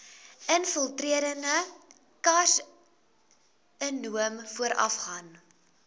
infiltrerende karsinoom voorafgaan